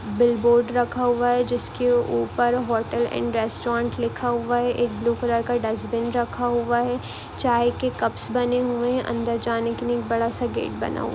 board रखा हुआ है जिसके ऊपर होटल एड रेस्टोरेट लिखा हुआ है एक ब्लू कलर का डस्टबिन रखा हुआ है चाय के कपस बने हुए है अदर जाने के लिए बड़ा सा गेट बना--